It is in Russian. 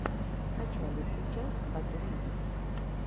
скачай лучшую часть батуми битс